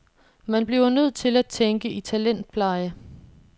Man bliver nødt til at tænke i talentpleje.